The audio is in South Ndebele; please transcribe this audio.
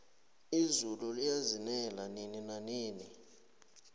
izulu liyazinela nini nanini